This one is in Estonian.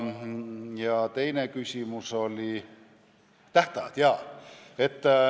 Ja teine küsimus oli tähtaegade kohta.